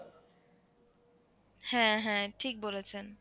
হ্যাঁ হ্যাঁ ঠিক বলেছেন।